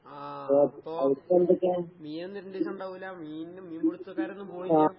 ആഹ്. മീനൊന്നും മീന് മീൻപിടുത്തക്കാരൊന്നും പോണില്ലേ?